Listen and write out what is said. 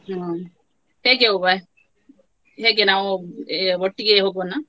ಹ್ಮ್‌. ಹೇಗೆ ಹೋಗುವ ಹೇಗೆ ನಾವು ಏ ಒಟ್ಟಿಗೆ ಹೋಗುವನ.